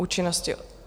Účinnosti.